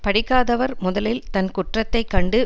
படிக்காதவர் முதலில் தன் குற்றத்தை கண்டு